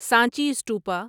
Sanchi stupa